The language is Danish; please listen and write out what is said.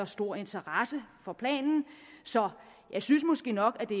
stor interesse for planen så jeg synes måske nok at det